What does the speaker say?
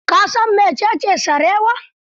Ka san mecece sarewa?